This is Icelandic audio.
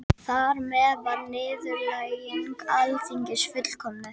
Krafturinn á ögnina er hornréttur bæði á stefnu hraða hennar og stefnu segulsviðsins.